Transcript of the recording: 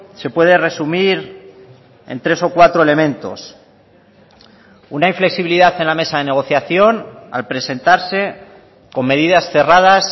se puede resumir en tres o cuatro elementos una inflexibilidad en la mesa de negociación al presentarse con medidas cerradas